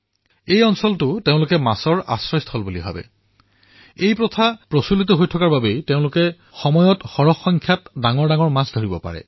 এই স্থানসমূহক তেওঁলোকে মাছৰ আশ্ৰয়স্থল হিচাপে মানে আৰু এই প্ৰথাৰ জৰিয়তে তেওঁলোকে পিছত ভৰপূৰ মাত্ৰাত সুস্থ মাছ লাভ কৰে